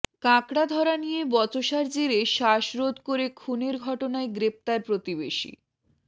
কাঁকড়া ধরা নিয়ে বচসার জেরে শ্বাসরোধ করে খুনের ঘটনায় গ্রেফতার প্রতিবেশী